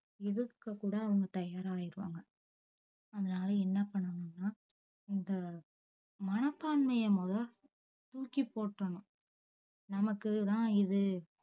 இதுக்கு கூட அவுங்க தயார ஆய்ருவாங்க அதனால என்ன பண்ணனும்னா இந்த மனப்பான்மைய மொத தூக்கி போற்றனும் நமக்கு தான் இது